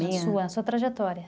Na sua , sua trajetória.